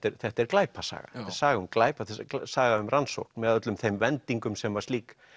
þetta er glæpasaga þetta er saga um glæp þetta er saga um rannsókn með öllum þeim vendingum sem slík